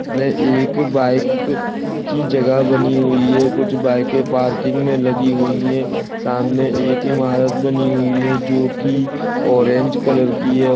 ये एक बाइक की जगह बनी हुई है कुछ बाइके पार्किंग मे लगी हुई है सामने एक इमारत बनी हुई है जो की ऑरेंज कलर की है।